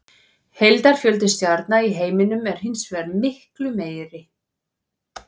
Heildarfjöldi stjarna í heiminum er hins vegar miklu meiri.